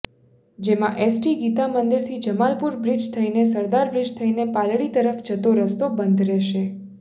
જેમાં એસટી ગીતામંદિરથી જમાલપુર બ્રિજ થઇને સરદારબ્રિજ થઇને પાલડી તરફ જતો રસ્તો બંધ રહેશે